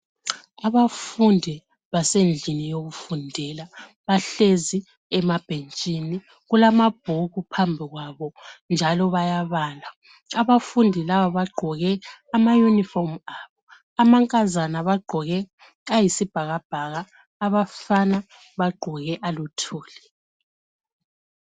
Abafundi basendlini yokufundela bahlezi emabhetshini kulamabhuku phambi kwabo njalo bayabala abafundi laba bagqoke amayunifomi abo, amankazana bagqoke ayisibhakabhaka abafana bagqoke aluthuli.